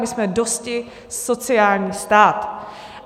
My jsme dosti sociální stát.